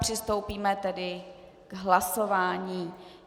Přistoupíme tedy k hlasování.